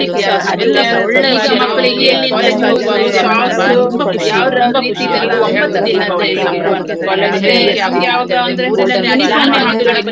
ಅಂದ್ರೆ ಮತ್ತೆ ಒಂದು ಆ ನಾವು college ಇಗೆ ಹೋಗುವಾಗ್ಲೂ ಹಾಗೆ ನಮ್ದು ಆ ಒಂದ್ ಹೇಳ್ತಾರಲ್ಲ ಆ college ದಿನಾ ಅಂತ್ಹೇಳಿದ್ರೆ ಒಂದು golden life ಅಂತ್ಹೇಳಿ ಹಾಗೆ.